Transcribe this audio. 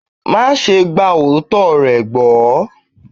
Máa ṣe gba òótọ́ rẹ̀ gbọ́.